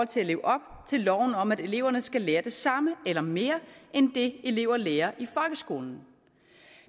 til at leve op til loven om at eleverne skal lære det samme eller mere end det elever lærer i folkeskolen